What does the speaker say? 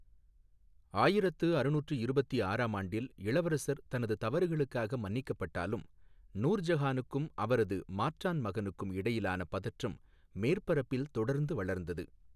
ஆயிரத்து அறுநூற்று இருபத்தி ஆறாம் ஆண்டில் இளவரசர் தனது தவறுகளுக்காக மன்னிக்கப்பட்டாலும், நூர் ஜஹானுக்கும் அவரது மாற்றான் மகனுக்கும் இடையிலான பதற்றம் மேற்பரப்பில் தொடர்ந்து வளர்ந்தது.